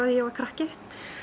að ég var krakki